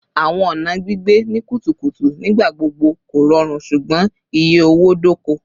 Awọn ọna gbigbe ni kutukutu nigbagbogbo korọrun ṣugbọn iye owo-doko